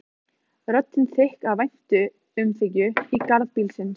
Röddin þykk af væntumþykju í garð bílsins.